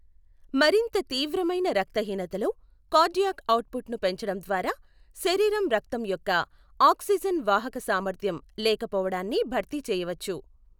మరింత తీవ్రమైన రక్తహీనతలో, కార్డియాక్ అవుట్పుట్ను పెంచడం ద్వారా శరీరం రక్తం యొక్క ఆక్సిజన్ వాహక సామర్థ్యం లేకపోవడాన్ని భర్తీ చేయవచ్చు.